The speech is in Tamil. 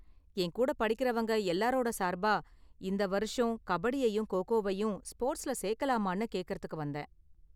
என் கூட படிக்கறவங்க எல்லாரோட சார்பா, இந்த வருஷம் கபடியையும் கோ கோவையும் ஸ்போர்ட்ஸ்ல சேர்க்கலாமானு கேக்கறதுக்கு வந்தேன்.